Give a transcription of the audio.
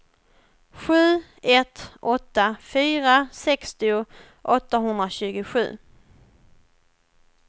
sju ett åtta fyra sextio åttahundratjugosju